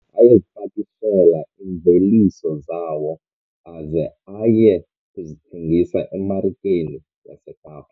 Ayezipakishela iimveliso zawo aze aye kuzithengisa emarikeni yaseKapa.